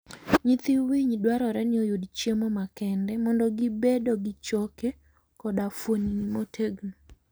Nyithii winy dwarore ni oyud chiemo makende mondo gi bedo gi choke koda fuoni motegno.